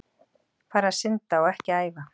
Fara að synda og ekki æfa?